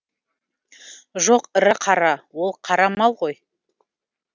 жоқ ірі қара ол қара мал ғой